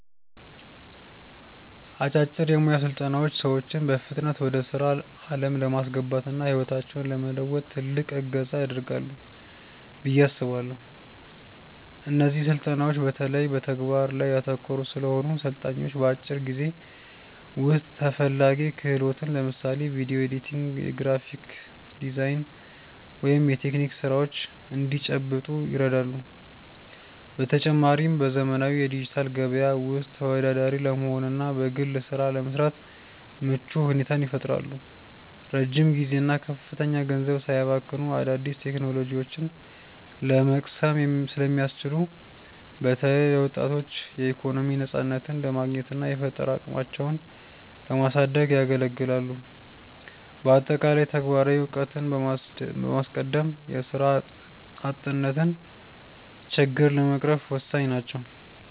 አጫጭር የሞያ ስልጠናዎች ሰዎችን በፍጥነት ወደ ስራ ዓለም ለማስገባትና ህይወታቸውን ለመለወጥ ትልቅ እገዛ ያደርጋሉ ብዬ አስባለው። እነዚህ ስልጠናዎች በተለይ በተግባር ላይ ያተኮሩ ስለሆኑ፣ ሰልጣኞች በአጭር ጊዜ ውስጥ ተፈላጊ ክህሎትን (ለምሳሌ ቪዲዮ ኤዲቲንግ፣ የግራፊክ ዲዛይን ወይም የቴክኒክ ስራዎች) እንዲጨብጡ ይረዳሉ። በተጨማሪም፣ በዘመናዊው የዲጂታል ገበያ ውስጥ ተወዳዳሪ ለመሆንና በግል ስራ ለመሰማራት ምቹ ሁኔታን ይፈጥራሉ። ረጅም ጊዜና ከፍተኛ ገንዘብ ሳያባክኑ አዳዲስ ቴክኖሎጂዎችን ለመቅሰም ስለሚያስችሉ፣ በተለይ ለወጣቶች የኢኮኖሚ ነፃነትን ለማግኘትና የፈጠራ አቅማቸውን ለማሳደግ ያገለግላሉ። በአጠቃላይ፣ ተግባራዊ እውቀትን በማስቀደም የስራ አጥነትን ችግር ለመቅረፍ ወሳኝ ናቸው።